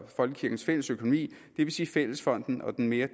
folkekirkens fælles økonomi det vil sige fællesfonden og den mere